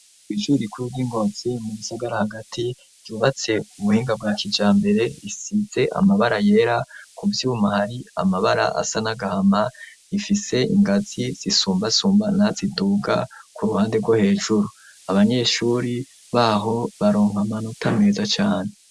Biju rikuru ry'ingozi mu bisagara hagati ryubatse ku buhinga bwa kija mbere risize amabara yera ku vyumhari amabara asa nagahama rifise ingazi zisumbasumbana ziduga ku ruhande rwo hejuru abanyeshuri baho baronka amanuta meza cane.